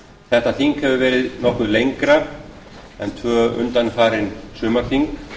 þetta þing hefur verið nokkuð lengra en tvö undanfarin sumarþing